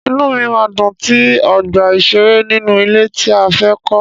Inúu mi máa dùn tí ọgbà ìṣeré nínú ilé tí a fẹ́ kọ́.